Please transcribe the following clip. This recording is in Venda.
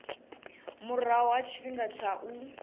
murahu ha tshifhinga tsha u